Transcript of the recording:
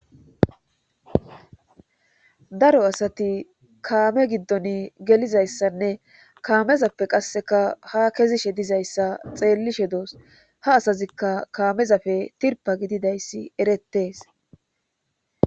daro asati kaame giddon gelizayssanne kaamezappe qasseka ha kezishe dizayssa xeellishe doos ha asazikka kaamezafe tirpa gididayssi erettees